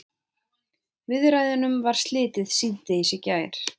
Viðræðunum var slitið síðdegis í gær